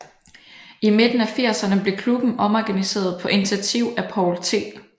I midten af firserne blev klubben omorganiseret på initiativ af Poul T